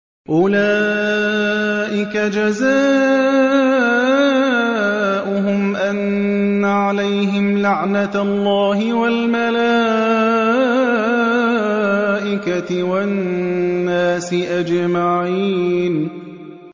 أُولَٰئِكَ جَزَاؤُهُمْ أَنَّ عَلَيْهِمْ لَعْنَةَ اللَّهِ وَالْمَلَائِكَةِ وَالنَّاسِ أَجْمَعِينَ